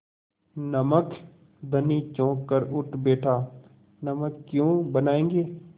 नमक धनी चौंक कर उठ बैठा नमक क्यों बनायेंगे